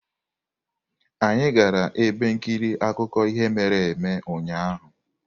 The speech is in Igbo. Anyị gara ebe nkiri akụkọ ihe mere eme ụnyahụ.